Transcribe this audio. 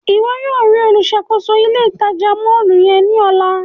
Iwọ yóò rii oluṣakoso ile-itaja mọllu yẹn ni ọla!